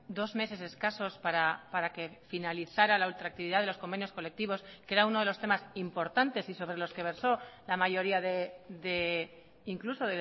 dos meses escasos para que finalizara la ultraactividad de los convenios colectivos que era uno de los temas importantes y sobre los que versó la mayoría de incluso